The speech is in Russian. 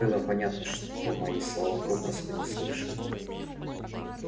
было понятно что мои слова попросту не слышал